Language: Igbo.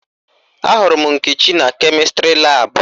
Ahụrụ m Nkechi na kemịstrị laabụ